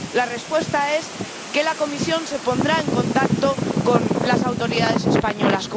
La respuesta es que la Comisión se pondrá en contacto con las autoridades españolas.